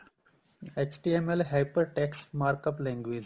HTML hyper text mark up language